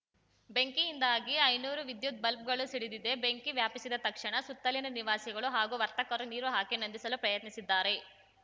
ಬೆಂಕಿಯಿಂದಾಗಿ ಐನೂರು ವಿದ್ಯುತ್‌ ಬಲ್ಬ್ ಗಳು ಸಿಡಿದಿದೆ ಬೆಂಕಿ ವ್ಯಾಪಿಸಿದ ತಕ್ಷಣ ಸುತ್ತಲಿನ ನಿವಾಸಿಗಳು ಹಾಗೂ ವರ್ತಕರು ನೀರು ಹಾಕಿ ನಂದಿಸಲು ಪ್ರಯತ್ನಿಸಿದ್ದಾರೆ